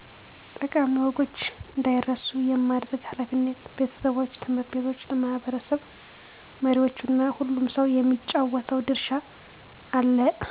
ጠቃሚ ወጎች እንዳይረሱ የማድረግ ኃላፊነት ቤተሰቦች፣ ት/ ቤቶች፣ ለማህበረሰብ መሪዎች እና ሁሉም ሰው የሚጫወተው ድርሻ አለ።